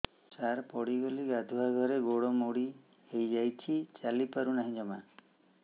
ସାର ପଡ଼ିଗଲି ଗାଧୁଆଘରେ ଗୋଡ ମୋଡି ହେଇଯାଇଛି ଚାଲିପାରୁ ନାହିଁ ଜମା